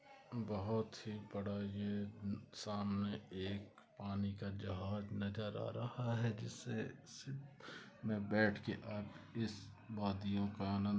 बहुत ही बड़ा यह सामने एक पानी का जहाज नजर आ रहा है जिसे बैठके आप इस वादियों का आनंद--